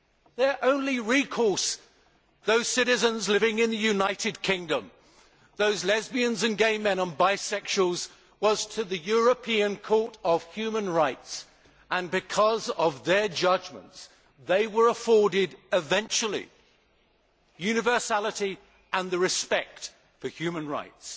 Their only recourse those citizens living in the United Kingdom, those lesbians and gay men and bisexuals was to the European Court of Human Rights, and because of their judgments, they were afforded eventually universality and respect for their human rights.